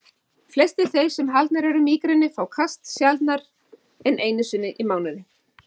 Flestir þeir sem haldnir eru mígreni fá kast sjaldnar en einu sinni í mánuði.